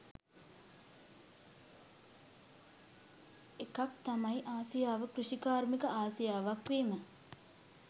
එකක් තමයි ආසියාව කෘෂිකාර්මික ආසියාවක් වීම